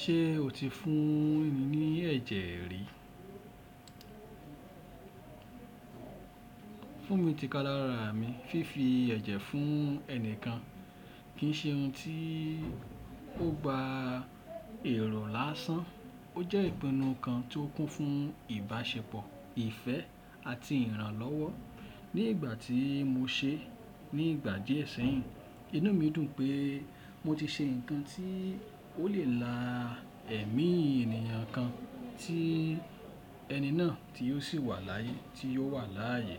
Ṣé o ti fún ẹni ní ẹ̀jẹ̀ rí? Fún mi ti kálẹ̀ rárá mi. Fífi ẹ̀jẹ̀ fún ẹnìkan kì í ṣe ohun tí ó gba èrò lásán. Ó jẹ́ ìpinnu kan tí ó kún fún ìbáṣepọ̀, ìfẹ́ àti ìrànlọ́wọ́. Ní ìgbà tí mo ṣe é ní ìgbà díẹ̀ ṣẹ́yìn, inú mi dùn pé mo ti ṣe nǹkan tí ó lè la ẹ̀mí ènìyàn kan tí ẹni náà ti yóò si wà láàyè. Ti yóò si wà láàyè.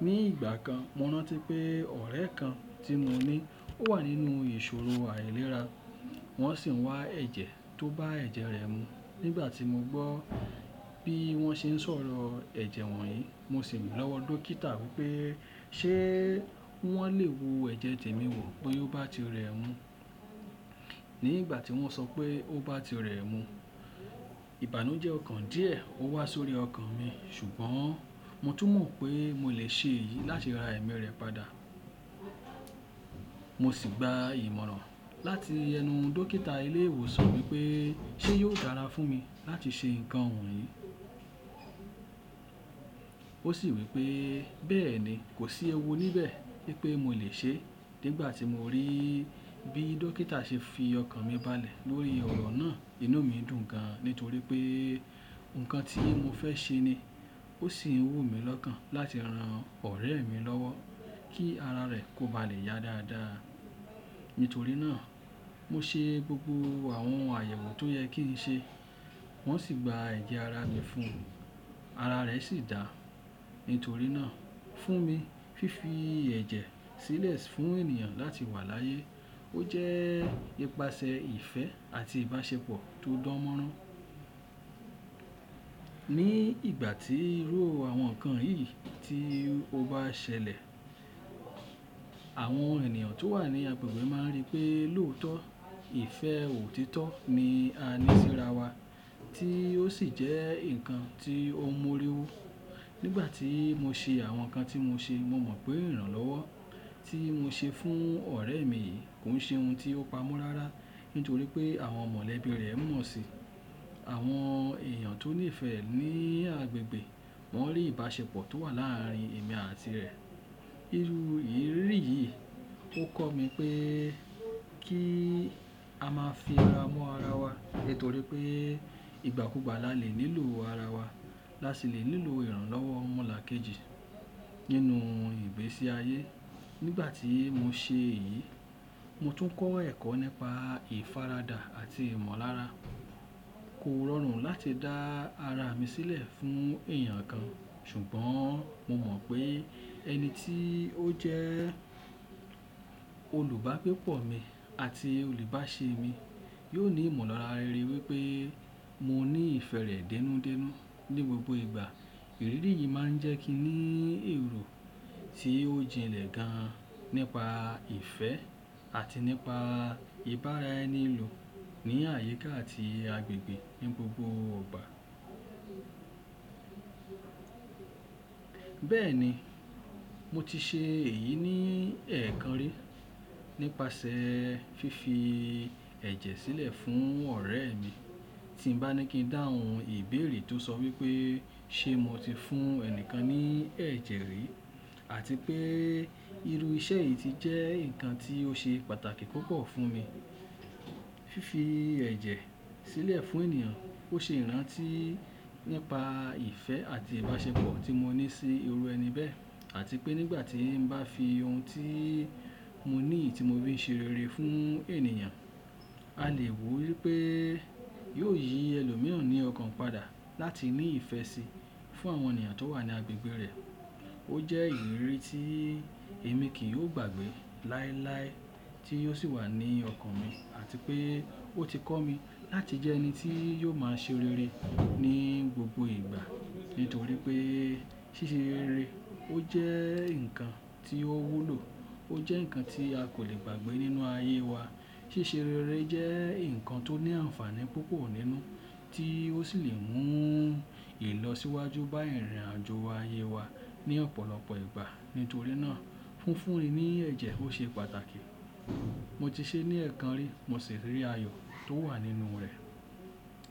Ní ìgbà kan, mo rántí pé ọ̀rẹ́ kan tí mo ni ó wà nínú ìṣòrò àìlera, wọ́n sì ń wá ẹ̀jẹ̀ tó bá ẹ̀jẹ̀ rẹ̀ mu. Nígbà tí mo gbọ́ bí wọ́n ṣe ń sọ̀rọ̀ ẹ̀jẹ̀ wọ̀nyí, mo sì rìn lọ́wọ́ dókítà wí pé ṣe wọ́n lè wo ẹ̀jẹ̀ temi wò bí ó bá ti rẹ mú. Nígbà tí wọ́n sọ pé ó bá ti rẹ mú, ìbánu jẹ́ ọ̀kan díẹ̀ ó wà sórí ọkàn mi, ṣùgbọ́n mo tún mọ̀ pé mo lè ṣe èyí láti ra ẹ̀mí rẹ̀ padà. Mo sì gba ìmọ̀ràn láti ẹnu dọ́kítà ilé ìwòsàn wí pé ṣe yóò dára fún mi láti ṣe nǹkan wọ̀nyí. Ó sì wí pé bẹ́ẹ̀ni, kò sí ẹwu níbẹ̀ wí pé mo lè ṣe é. Nígbà tí mo rí bí dókítà ṣe fi ọkàn mi balẹ̀ lórí òrò náà, inú mi dùn gan nítorí pé nǹkan ti mo fẹ́ ṣe ni. Ó sì ń wù mí lọ́kàn láti ran ọ̀rẹ́ mi lọ́wọ́ kí ara rẹ̀ kò ba lè yá dáadáa. Nítorí náà, mo ṣe gbogbo àwọn àyẹ̀wò tó yẹ kí n ṣe, wọ́n sì gba ẹ̀jẹ̀ ara mi fún un. Ara rẹ̀ sì dáa. Nítorí náà, fún mi, fífi ẹ̀jẹ̀ sílẹ̀ fún ènìyàn láti wà láyè ó jẹ́ ìpàṣẹ ìfẹ́ àti ìbáṣepọ̀ tó dán mọ́rán. Ní ìgbà tí irú àwọn nǹkan yìí tí o bá ṣẹlẹ̀, àwọn ènìyàn tó wà ní agbègbè máa rí pé lóòótọ́ ìfẹ́ ò títọ́ ni a ní síra wa, tí ó sì jẹ́ nǹkan tí ó mọ́rẹ̀ wu Nígbà tí mo ṣe àwọn nǹkan tí mo ṣe, mo mọ̀ pé ìrànlọ́wọ́ tí mo ṣe fún ọ̀rẹ́ mi kò ń ṣe ohun tí ó pamọ́ rárá, nítorí pé àwọn mọlẹ̀bí rẹ̀ mọ̀ síi. Àwọn èèyàn tó nífẹ̀ẹ́ ní agbègbè wọ́n rí ìbáṣepọ̀ tó wà láàárín èmi àti rẹ̀. Iru ìrírí yìí ó kọ́ mi pé kí a máa fi ara mọ́ ara wa nítorí pé ìgbàkùgbà la lè nílò ara wa, láti lè nílò ìrànlọ́wọ́ mọ́là kejì nínú ìgbésí ayé. Nígbà tí mo ṣe èyí, mo tún kọ́ ẹ̀kọ́ nípa ìfaradà àti ìmọ̀lára. Kò rọrùn láti dá ara mi sílẹ̀ fún èèyàn kan, ṣùgbọ́n mo mọ̀ pé ẹni tí ó jẹ́ olùbágbé pọ̀ mi àti òlùbáṣe mi yóò ní ìmọ̀lára rere ri pé mo ní ìfẹ́ rẹ̀ dẹ́núdẹ́nú ní gbogbo ìgbà. Ìrírí yìí máa ń jẹ́ kí n ní èrò tí ó jinlẹ̀ gan nípa ìfẹ́ àti nípa ìbára-ẹni-lò ní àyíká àti agbègbè ní gbogbo gbà. Bẹ́ẹ̀ni, mo ti ṣe èyí ní ẹ̀ẹ̀kan rí nípasẹ̀ fífi ẹ̀jẹ̀ sílẹ̀ fún ọ̀rẹ́ mi. Ti n bá ní kí n dá ohun ìbéèrè tó sọ wí pé ṣe mo ti fún ẹnìkan ní ẹ̀jẹ̀ rí, àti pé irú iṣẹ́ yìí ti jẹ́ nǹkan tí ó ṣe pàtàkì púpọ̀ fún mi. Fífi ẹ̀jẹ̀ sílẹ̀ fún ènìyàn ó ṣe ìrántí nípa ìfẹ́ àti ìbáṣepọ̀ tí mo ní sí irú ẹni bẹ́ẹ̀, àti pé nígbà tí n bá fi ohun tí mo ní, ti mo fi ṣe rere fún ènìyàn, a lè rò wí pé yóò yí ẹlòmíràn ní ọkàn padà láti ní ìfẹ́ síi fún àwọn ènìyàn tó wà ní agbègbè rẹ̀. Ó jẹ́ ìrírí tí èmi kì í ó gbàgbé láìláí tí ó sì wà ní ọkàn mi, àti pé ó ti kọ́ mi láti jẹ ẹni tí yóò máa ṣe rere ní gbogbo ìgbà. Nítorí pé ṣiṣẹ́ rere ó jẹ́ nǹkan tí ó wulù, ó jẹ́ nǹkan ti a kò lè gbàgbé nínú ayé wa. Ṣiṣẹ́ rere jẹ́ nǹkan tó ní àǹfààní púpọ̀ nínú, tí ó sì lè mú ìlọ́ síwájú bá ìrìn-àjọ̀ ayé wa ní ọ̀pọ̀lọpọ̀ ìgbà. Nítorí náà, fúnfúnni ní ẹ̀jẹ̀ ó ṣe pàtàkì. Mo ti ṣe ní ẹ̀ẹ̀kan rí, mo sì rí ayò tó wà nínú rẹ̀.